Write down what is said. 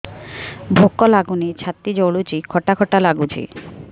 ଭୁକ ଲାଗୁନି ଛାତି ଜଳୁଛି ଖଟା ଖଟା ଲାଗୁଛି